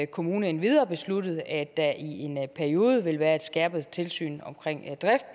kommune endvidere besluttet at der i en periode vil være et skærpet tilsyn